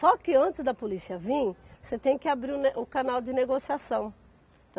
que antes da polícia vir, você tem que abrir o ne o canal de negociação.